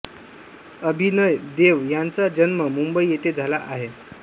अभिनय देव ह्यांचा जन्म मुंबई इथे झाला आहे